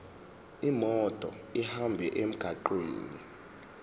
imoto ihambe emgwaqweni